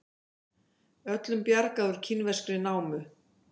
Öllum bjargað úr kínverskri námu